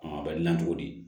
a bɛ gilan cogo di